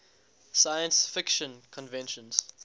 science fiction conventions